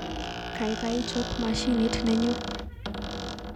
Kaikai chob mashinit nenyu